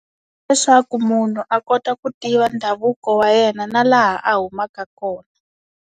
Leswaku munhu a kota ku tiva ndhavuko wa yena na laha a humaka kona.